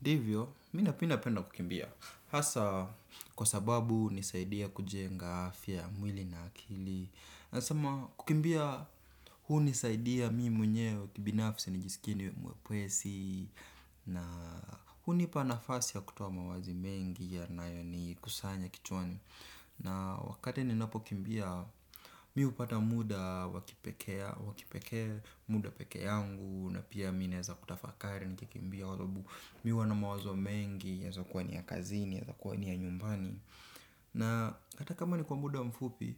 Ndivyo, mimi napenda kukimbia. Hasa, kwa sababu hunisaidia kujenga afya ya, mwili na akili. Nasema, kukimbia, hunisaidia mimi mwenyewe kibinafsi nijisikie niwe mwepesi. Na hunipa nafasi ya kutaoa mawazo mengi yanayonikusanya kichwani. Na wakati ninapokimbia, mimi hupata muda wa kipekee, wa kipekee muda pekee yangu. Na pia mimi naeza kutafakari nikikimbia kwa sababu. Mimi huwa na mawazo mengi. Yaeza kuwa ni ya kazini. Yaeza kuwa ni ya nyumbani. Na hata kama ni kwa muda mfupi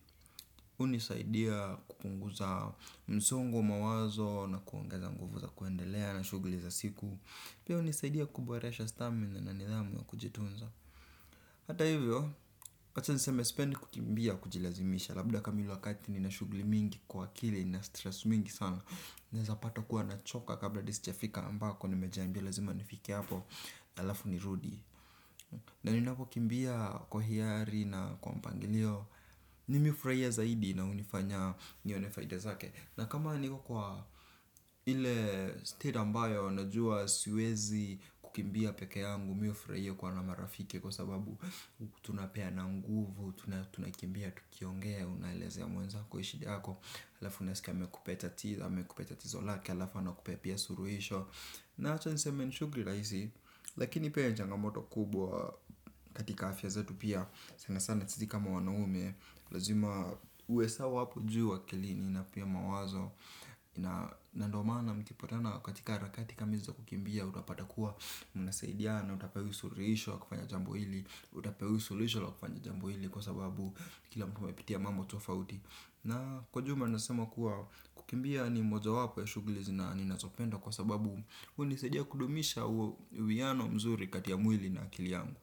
hunisaidia kupunguza msongo wa mawazo. Na kuongeza nguvu za kuendelea na shughuli za siku. Pia hunisaidia kuboresha stamina na nidhamu ya kujitunza. Hata hivyo acha niseme sipendi kukimbia kujilazimisha. Labda kama ile wakati nina shughuli mingi kwa akili nina stress mingi sana. Naeza pata kuwa nachoka. Kabla hadi sijafika ambako nimejiambia lazima nifike hapo. Alafu nirudi. Na ninapokimbia kwa hiari na kwa mpangilio mimi hufurahia zaidi na hunifanya nione faida zake. Na kama niko kwa ile state ambayo najua siwezi kukimbia pekee yangu. Mimi hufurahia kuwa na marafiki kwa sababu kutunapea na nguvu kutunakimbia tukiongea unaelezea mwenza shida yako. Alafu unasika amekupea tatizo. Amekupea tatizo lake. Alafu anakupea pia suruhisho. Na hata nisemeni shughuri rahisi. Lakini pia nichanga moto kubwa katika afya zetu pia. Sana sana sisi kama wanaume. Lazima uwe sawa wapu juu wakilini na pia mawazo. Na ndio mana mtikipatana katika harakati kama hizi kukimbia. Utapata kuwa mna saidia na utapewa suluhisho la kufanya jambo hili. Utapewisulisho la kufanya jambo hili kwa sababu kila mtu hupitia mambo tofauti. Na kwa jumla nasema kuwa kukimbia ni moja wapo ya shughuli nazo ninazopenda kwa sababu unisaidia kudumisha uwe wiano mzuri katia mwili na akili yangu.